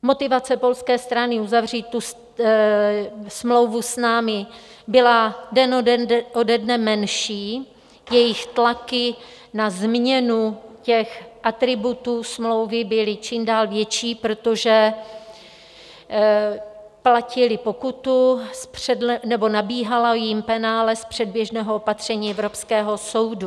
Motivace polské strany uzavřít tu smlouvu s námi byla den ode dne menší, jejich tlaky na změnu těch atributů smlouvy byly čím dál větší, protože platili pokutu, nebo nabíhalo jim penále z předběžného opatření Evropského soudu.